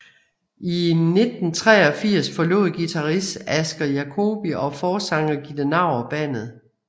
I 1983 forlod guitarist Aske Jacoby og forsanger Gitte Naur bandet